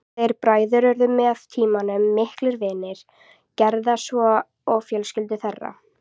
Þeir bræður urðu með tímanum miklir vinir Gerðar svo og fjölskyldur þeirra.